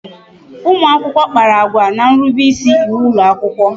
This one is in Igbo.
Ụmụakwụkwọ kpara agwa n'nrube isi iwu ụlọakwụkwọ